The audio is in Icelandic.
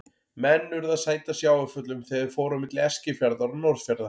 Menn urðu að sæta sjávarföllum þegar þeir fóru á milli Eskifjarðar og Norðfjarðar.